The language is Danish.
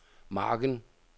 margen